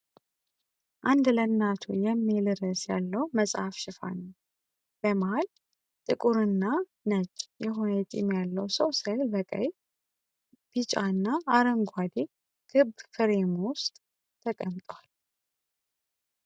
"አንድ ለናቱ" የሚል ርዕስ ያለው መጽሐፍ ሽፋን ነው። በመሀል ጥቁርና ነጭ የሆነ የጢም ያለው ሰው ስዕል በቀይ፣ ቢጫና አረንጓዴ ክብ ፍሬም ውስጥ ተቀምጧል።